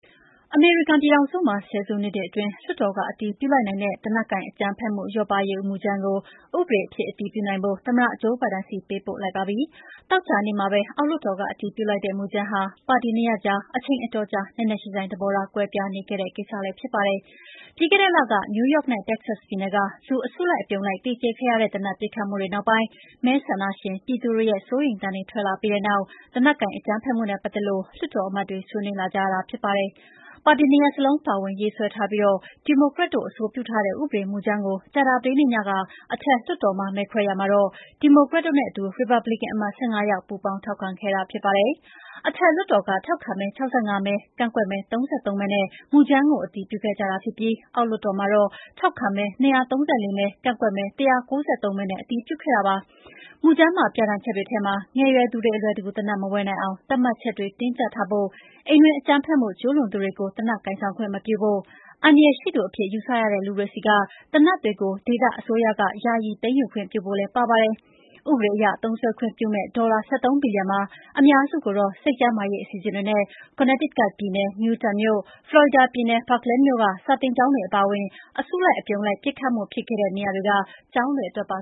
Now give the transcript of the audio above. အမေရိကန်ပြည်ထောင်စုမှာ ဆယ်စုနှစ်တွေအတွင်း လွှတ်တော်က အတည်ပြုလိုက်နိုင်တဲ့ သေနတ်ကိုင်အကြမ်းဖက်မှုလျော့ပါးရေးမူကြမ်းကို ဥပဒေအဖြစ်အတည်ပြုနိုင်ဖို့ သမ္မတဂျိုးဘိုင်ဒန် ဆီပေးပို့လိုက်ပါပြီ။ သောကြာနေ့မှာပဲ အောက်လွှတ်တော်က အတည်ပြုလိုက်တဲ့ မူကြမ်းဟာ ပါတီနှစ်ရပ်ကြား အချိန်အတော်ကြာ နက်နက်ရှိုင်းရှိုင်း သဘောထားကွဲပြားနေခဲ့တဲ့ကိစ္စဖြစ်ပါတယ်။ ပြီးခဲ့တဲ့လက နယူးယောက်နဲ့ တက္ကဆတ်ပြည်နယ်က လူအစုလိုက်အပြုံလိုက်သေကြေခဲ့ရတဲ့ သေနတ်ပစ်ခတ်မှုတွေ နောက်ပိုင်း မဲဆန္ဒရှင်ပြည်သူတွေရဲ့စိုးရိမ်သံတွေ ထွက်လာပြီးတဲ့နောက် သေနတ်ကိုင်အကြမ်းဖက်မှုနဲ့ပတ်သက်လို့ လွှတ်တော်အမတ်တွေေ ဆွးနွေးလာကြရတာဖြစ်ပါတယ်။ ပါတီနှစ်ရပ်စလုံးပါဝင်ရေးဆွဲထားပြီး ဒီမိုကရက်တို့အဆိုပြုထားတဲ့ ဥပဒေမူကြမ်းကို ကြာသပတေးနေ့ညက အထက်လွှတ်တော်မှာ မဲခွဲရာမှာတော့ ဒီမိုကရက်တို့နဲ့အတူ ရီပါတ်ဘလစ်ကန်အမတ် ၁၅ ယောက်ပူးပေါင်းထောက်ခံခဲ့တာဖြစ်ပါတယ်။ အထက်လွှတ်တော်က ထောက်ခံမဲ ၆၅ မဲကန့်ကွက်မဲ ၃၃ မဲနဲ့ မူကြမ်းကို အတည်ပြုခဲ့ကြတာဖြစ်ပြီး အအောက်လွှတ်တော်မှာတော့ ထောက်ခံမဲ ၂၃၄ မဲ၊ ကန့်ကွက်မဲ ၁၉၃ မဲနဲ့ အတည်ပြုခဲ့တာပါ။ မူကြမ်းပါပြဌာန်းချက်တွေထဲမှာ ငယ်ရွယ်သူတွေ အလွယ်တကူ သေနတ်မဝယ်နိုင်အောင် သတ်မှတ်ချက်တွေ တင်းကြပ်ထားဖို့၊ အိမ်တွင်းအကြမ်းဖက်မှုကျုးလွန်သူတွေကို သေနတ်ကိုင်ဆောင်ခွင့်မပြုဖို့၊ အန္တရာယ်ရှိသူအဖြစ် ယူဆရတဲ့လူတွေဆီကသေနတ်တွေကို ဒေသအစိုးရကယာယီသိမ်းယူခွင့်ပြုဖို့လည်း ပါပါတယ်။ ဥပဒေအရ သုံးစွဲခွင့်ပြုမယ့် ဒေါ်လာ ၁၃ ဘီလျံမှာ အများစုကိုတော့ စိတ်ကျန်းမာရေး အစီအစဉ်တွေနဲ့ Connecticut ပြည်နယ် Newtownမြို့၊ Florida ပြည်နယ် Parkland မြို့က စာသင်ကျောင်းတွေ အပါအဝင် အစုလိုက်အပြုံလိုက် ပစ်ခတ်မှု ဖြစ်ခဲ့တဲ့ နေရာတွေက ကျောင်းတွေအတွက်ပါ